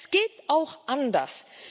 Es geht auch anders.